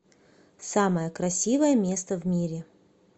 самое красивое место в мире